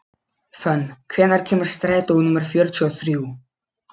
Fönn, hvenær kemur strætó númer fjörutíu og þrjú?